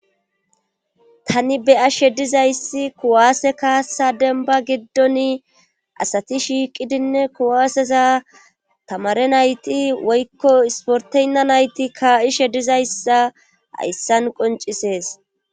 tani beyashe dizayssi kuwaase kaasa denba giddoni asati shiiqidinne kuwaaseza tamare nayti woykko isporteynna nayti kaa7ishe dizayssa hayssan qoncisees